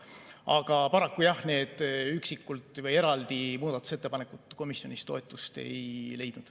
Aga paraku jah, need muudatusettepanekud üksikult või eraldi komisjonis toetust ei leidnud.